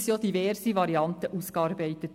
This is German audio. Diverse Varianten wurden ausgearbeitet.